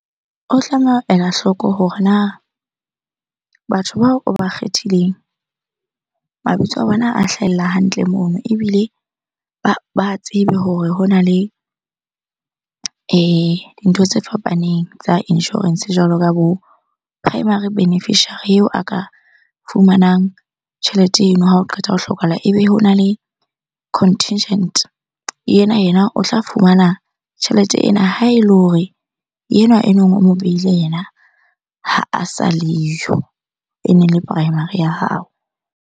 O tlameha ho ela hloko hore na batho bao o ba kgethileng, mabitso a bona a hlahella hantle mono? Ebile ba tsebe hore hona le dintho tse fapaneng tsa insurance jwalo ka bo primary beneficiary eo a ka fumanang tjhelete eno ha o qeta ho hlokahala. Ebe hona le contingent, ena yena o tla fumana tjhelete ena ha ele hore enwa e neng o mo beile yena ha a sa leyo. Ene le primary ya hao.